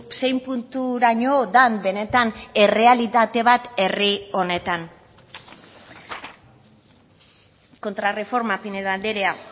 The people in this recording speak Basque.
zein punturaino den benetan errealitate bat herri honetan kontrarreforma pinedo andrea